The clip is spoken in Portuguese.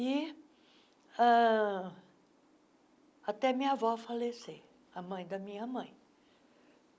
E ah até minha avó falecer, a mãe da minha mãe.